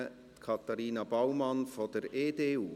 Katharina Baumann von der EDU.